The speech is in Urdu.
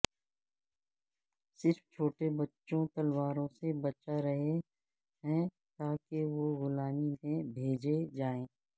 صرف چھوٹے بچوں تلواروں سے بچا رہے ہیں تاکہ وہ غلامی میں بھیجے جائیں